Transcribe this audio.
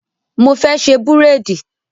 Mo fẹ́ ṣe búréèdì.